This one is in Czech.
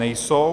Není.